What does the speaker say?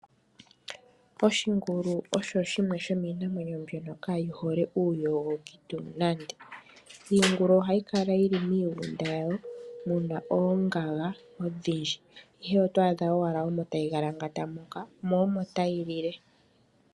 Oshingulu osho shimwe shomiinamwenyo kaayi hole uuyogoki tuu nande. Iingulu ohayi kala yili miigunda yawo muna oongaga odhindji, ihe oto adha omo owala tayi galangata mo omo tayi lile.